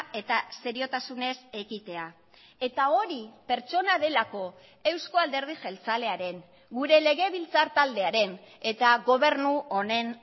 eta seriotasunez ekitea eta hori pertsona delako eusko alderdi jeltzalearen gure legebiltzar taldearen eta gobernu honen